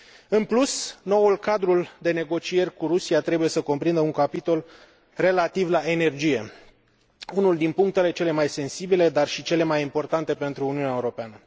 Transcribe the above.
În plus, noul cadru de negocieri cu Rusia trebuie să cuprindă un capitol relativ la energie, unul din punctele cele mai sensibile, dar și cele mai importante pentru Uniunea Europeană.